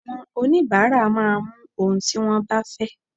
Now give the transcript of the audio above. Àwọn onibaara máa mú ohun tí wón bá fẹ́.